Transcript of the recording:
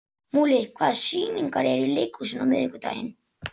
Múli, hvaða sýningar eru í leikhúsinu á miðvikudaginn?